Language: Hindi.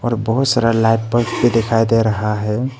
और बहुत सारा लाइट बल्ब भी दिखाई दे रहा है।